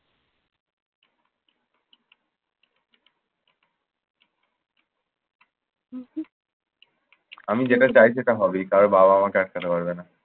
আমি যেটা চাই সেটা হবেই। কারো বাবাও আটকাতে পারবে না।